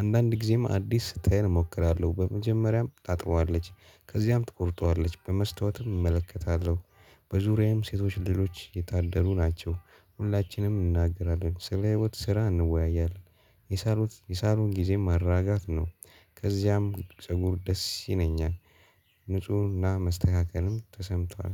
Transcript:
አንዳንድ ጊዜም አዲስ ስታይል እሞክራለሁ በመጀመሪያም ታጥበዋለች ከዚያም ትቆርጠዋለች በመስታወትም እመለከታለሁ። በዙሪያዬም ሴቶች ሌሎች የታደሉ ናቸው ሁላችንም እንናገራለን ስለ ህይወት ስራ እንወያያለን። የሳሎት የሳሉን ጊዜም ማራጋት ነው። ከዚያም ፀጉር ደስ ይለኛል። ንፁህና መስተካከልም ተሰምቷል።